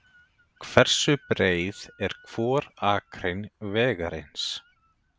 Hversu breið er hvor akrein vegarins?